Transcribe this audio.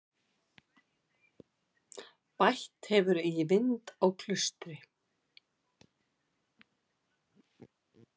Bætt hefur í vind á Klaustri